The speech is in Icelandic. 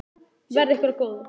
Verði ykkur að góðu.